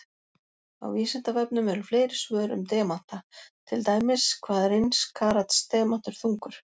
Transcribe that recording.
Á Vísindavefnum eru fleiri svör um demanta, til dæmis: Hvað er eins karats demantur þungur?